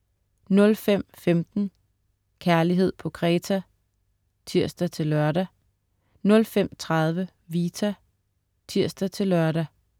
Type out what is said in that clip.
05.15 Kærlighed på Kreta* (tirs-lør) 05.30 Vita* (tirs-lør)